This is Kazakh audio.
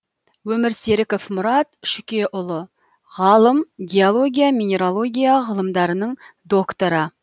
өмірсеріков мұрат шүкеұлы ғалым геология минералогия ғылымдарының докторы